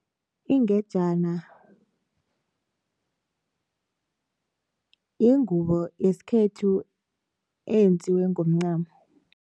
Ingejana yingubo yesikhethu eyenziwe ngoncamo.